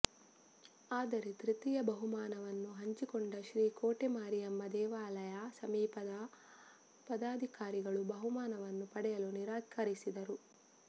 ಆದರೆ ತೃತೀಯ ಬಹುಮಾನವನ್ನು ಹಂಚಿಕೊಂಡ ಶ್ರೀಕೋಟೆ ಮಾರಿಯಮ್ಮ ದೇವಾಲಯ ಸಮಿತಿಯ ಪದಾಧಿಕಾರಿಗಳು ಬಹುಮಾನವನ್ನು ಪಡೆಯಲು ನಿರಾಕರಿಸಿದರು